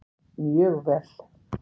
Mjög vel!